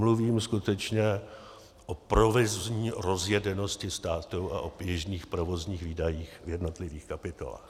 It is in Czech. Mluvím skutečně o provozní rozjedenosti státu a o běžných provozních výdajích v jednotlivých kapitolách.